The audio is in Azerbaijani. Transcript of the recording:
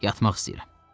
Yatmaq istəyirəm.